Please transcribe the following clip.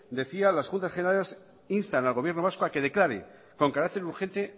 decía las juntas generales instan al gobierno vasco a que declare con carácter urgente